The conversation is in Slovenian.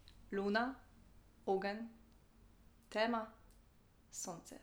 Luna, ogenj, tema, sonce.